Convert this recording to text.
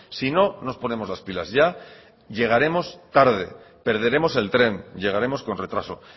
si no nos ponemos las pilas ya llegaremos tarde perderemos el tren llegaremos con retraso